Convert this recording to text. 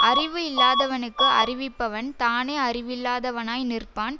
அறிவு இல்லாதவனுக்கு அறிவிப்பவன் தானே அறிவில்லாதவனாய் நிற்பான்